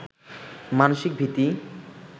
মানসিক ভীতিই